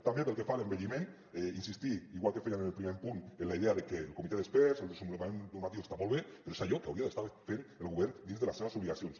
també pel que fa a l’envelliment insistir igual que fèiem en el primer punt en la idea de que el comitè d’experts el desenvolupament normatiu està molt bé però és allò que hauria d’estar fent el govern dins de les seves obligacions